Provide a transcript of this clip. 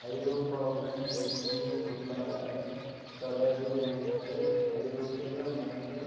ஐரோப்பாவுடன் நெருங்கிய பொருளாதார தொடர்பு கொண்டு ஐரோப்பிய வணிக